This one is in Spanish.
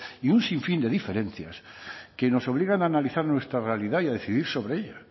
y un sinfín de diferencias que nos obligan a analizar nuestra realidad y a decidir sobre ello